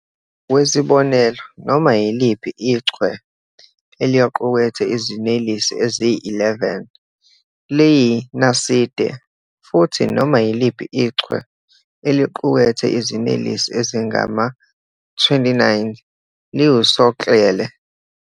Ngokwesibonelo, noma yiliphi ichwe eliqukethe iziNelesi eziyi-11 liyiNaside, futhi noma yiliphi ichwe eliqukethe iziNelesi ezingama-29 liwusoklele.